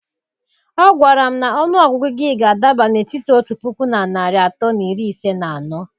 Ọ gwara m na ọnụ ọgụgụ gị ga-adaba n'etiti otu puku na narị atọ na iri ise na anọ.